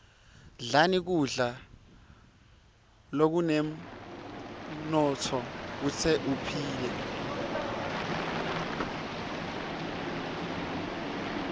dlani kudla lokunemnotfo kute uphile